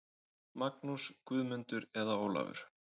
Magnús, Guðmundur eða Ólafur.